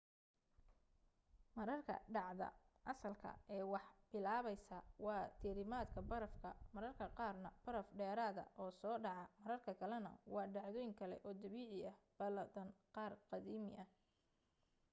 mararka dhacda asalka ah ee wax bilaabaysaa waa diirimaadka barafka mararka qaarna baraf dheeraada oo soo dhaca marar kalena waa dhacdooyin kale oo dabiici ah badaan qaar aadami ah